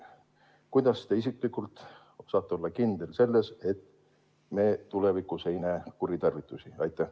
Kuidas te isiklikult saate olla kindel selles, et me tulevikus ei näe kuritarvitusi?